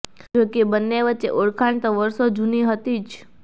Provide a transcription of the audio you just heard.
જોકે બંને વચ્ચે ઓળખાણ તો વર્ષો જુની હતી જ